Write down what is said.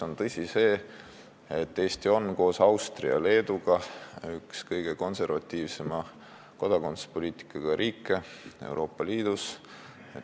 On tõsi, et Eesti on koos Austria ja Leeduga üks kõige konservatiivsema kodakondsuspoliitikaga riike Euroopa Liidus.